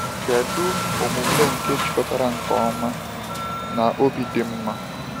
Kedu omume nke jikọtara nke ọma na obi dị mma?